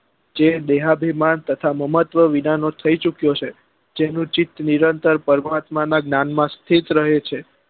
જે દેહાભી માં તથા મામ્તવી વિના નો થઇ ચુક્યો છે જેનું ચિત નિરંતર પરમાત્મા નાં જ્ઞાન માં સ્થિત રહે છે